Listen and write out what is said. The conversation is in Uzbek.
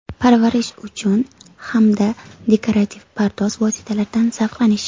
Parvarish uchun hamda dekorativ pardoz vositalaridan zavqlanish.